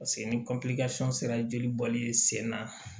Paseke ni sera jelibɔli ye sen na